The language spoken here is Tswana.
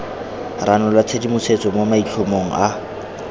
ranola tshedimosetso mo maitlhomong a